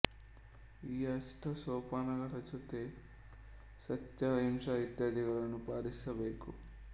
ಈ ಅಷ್ಟ ಸೋಪಾನಗಳ ಜೊತೆಗೆ ಸತ್ಯ ಅಹಿಂಸೆ ಇತ್ಯಾದಿಗಳನ್ನೂ ಪಾಲಿಸಬೇಕು